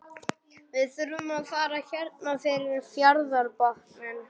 Við þurfum að fara hérna fyrir fjarðarbotninn.